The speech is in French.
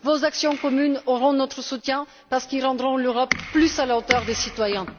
Vos actions communes auront notre soutien parce qu'elles rendront l'Europe plus à la hauteur des citoyens.